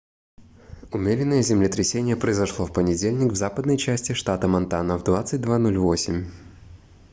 умеренное землетрясение произошло в понедельник в западной части штата монтана в 22:08